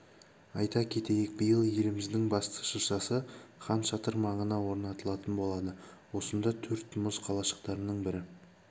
айта кетейік биыл еліміздің басты шыршасы хан шатыр маңына орнатылатын болады осында төрт мұз қалашықтарының бірі